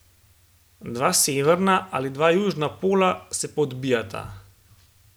Dva severna ali dva južna pola se pa odbijata.